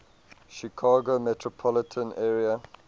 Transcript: chicago metropolitan area